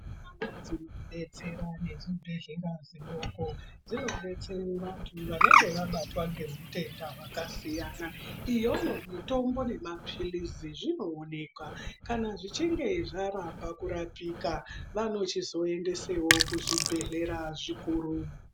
Mitombo dzinotidetsera nezvibhedhlera zvidoko dzinodetsere vantu vanenge vabatwa ngehutenda hwaakasiyana. Iyoyo mitombo nemapirizi zvinoonekwa kana zvichinge zvaramba kurapika, vanochizoendesewo kuzvibhedhlera zvikuru.